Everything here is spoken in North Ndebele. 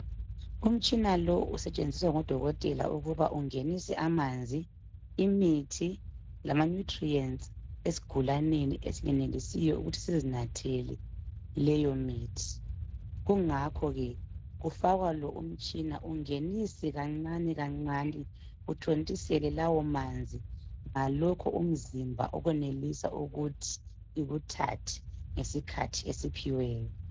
Umtshina lo usetshenziswa ngodokotela ukuba ungenise amanzi, imithi lama "nutrients" esigulaneni esingenelisiyo ukuthi sizinathele leyo mithi kungakho ke kufakwa lo umtshina ungenise kancane kancane uthontisele lawomanzi ngalokho umzimba okwenelisa ukuthi ikuthathe ngesikhathi esiphiweyo.